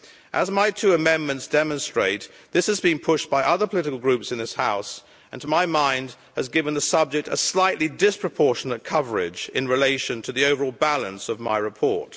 As my two amendments demonstrate, this is being pushed by other political groups in this House, and to my mind has given the subject a slightly disproportionate coverage in relation to the overall balance of my report.